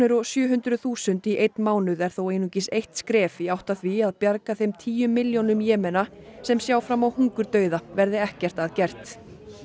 og sjö hundruð þúsund í einn mánuð er þó einungis eitt skref í átt að því að bjarga þeim tíu milljónum Jemena sem sjá fram á hungurdauða verði ekkert að gert